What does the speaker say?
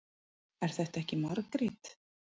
Er þetta ekki Margrét?